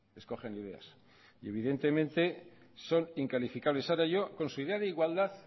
escogen ideas y evidentemente son incalificables ahora yo con su idea de igualdad